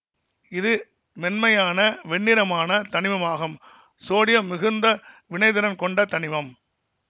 இது மென்மையான வெண்ணிறமான தனிமம் ஆகும் சோடியம் மிகுந்த வினைத்திறன் கொண்ட தனிமம்